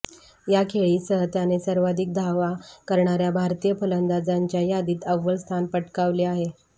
या खेळीसह त्याने सर्वाधिक धावा करणाऱ्या भारतीय फलंदाजांच्या यादीत अव्वल स्थान पटकावले आहे